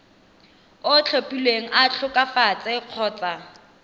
o tlhophilweng a tlhokafetse kgotsa